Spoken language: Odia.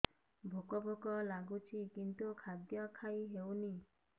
ଭୋକ ଭୋକ ଲାଗୁଛି କିନ୍ତୁ ଖାଦ୍ୟ ଖାଇ ହେଉନି